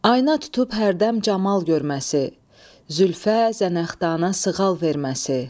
Aynaya tutub hərdən camal görməsi, zülfə, zənəxdana sığal verməsi.